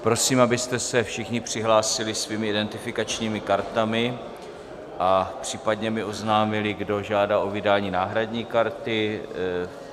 Prosím, abyste se všichni přihlásili svými identifikačními kartami a případně mi oznámili, kdo žádá o vydání náhradní karty.